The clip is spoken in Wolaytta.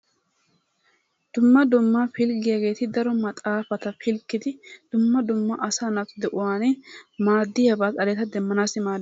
Dumma dumma pliggiyaget daro maxaafatta pilggdi dumma dumma asaa naatta maadiyabba xalletta demmanassi maadiyaba.